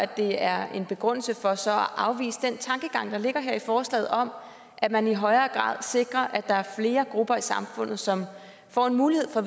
det er en begrundelse for så at afvise den tankegang der ligger her i forslaget om at man i højere grad sikrer at der er flere grupper i samfundet som får mulighed for